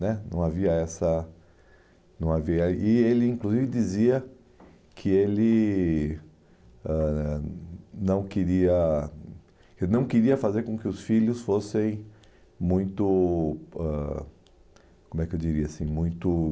Né não havia essa, não havia... E ele, inclusive, dizia que ele ãh não queria que não queria fazer com que os filhos fossem muito ãh como é que eu diria, assim, muito...